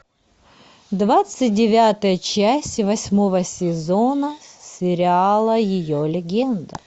двадцать девятая часть восьмого сезона сериала ее легенда